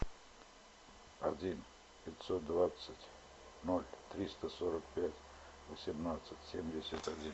один пятьсот двадцать ноль триста сорок пять восемнадцать семьдесят один